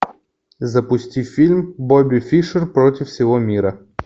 запусти фильм бобби фишер против всего мира